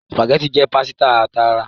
Spaghetti jé pàsìta tààrà